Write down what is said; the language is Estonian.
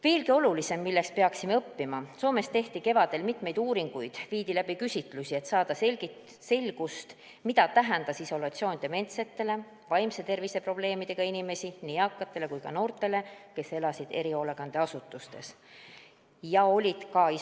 Veelgi olulisem, millest peaksime õppima – Soomes tehti kevadel mitmeid uuringuid, viidi läbi küsitlusi, et saada selgust, mida tähendas isolatsioon dementsetele, vaimse tervise probleemidega inimestele, nii eakatele kui ka noortele, kes elasid erihoolekandeasutustes või olid isolatsioonis.